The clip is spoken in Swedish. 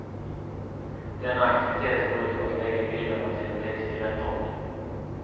Denna aktivitet går ut på att lägga bilderna till en text i rätt ordning.